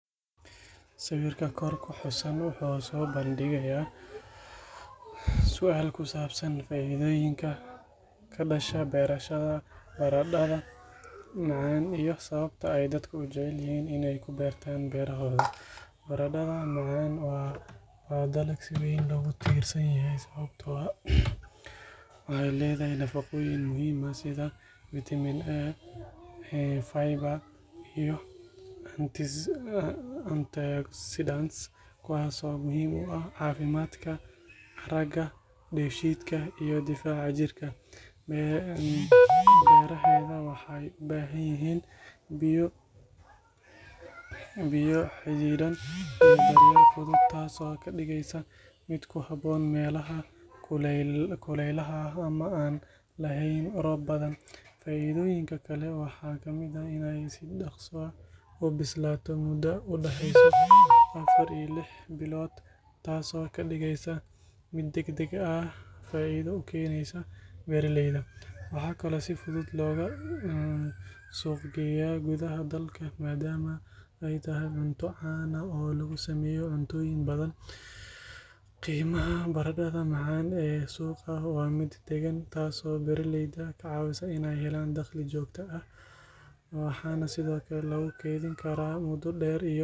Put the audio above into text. Sawirka kor ku xusan wuxuu soo bandhigayaa su’aal ku saabsan faa’iidooyinka ka dhasha beerashada baradhada macaan iyo sababta ay dadku u jecel yihiin in ay ku beertaan beerahooda. Baradhada macaan waa dalag si weyn loogu tiirsan yahay sababtoo ah waxay leedahay nafaqooyin muhiim ah sida Vitamin A, fiber, iyo antioxidants kuwaas oo muhiim u ah caafimaadka aragga, dheefshiidka, iyo difaaca jirka. Beeraheeda waxay u baahan yihiin biyo xaddidan iyo daryeel fudud, taasoo ka dhigeysa mid ku habboon meelaha kuleylaha ah ama aan lahayn roob badan. Faa’iidooyinka kale waxaa ka mid ah in ay si dhaqso ah u bislaato muddo u dhaxaysa afar ilaa lix bilood, taasoo ka dhigaysa mid degdeg faa’iido u keenaysa beeraleyda. Waxaa kaloo si fudud looga suuq geeyaa gudaha dalka maadaama ay tahay cunto caan ah oo lagu sameeyo cuntooyin badan. Qiimaha baradhada macaan ee suuqa waa mid deggan, taasoo beeraleyda ka caawisa inay helaan dakhli joogto ah. Waxaa sidoo kale lagu kaydin karaa muddo dheer.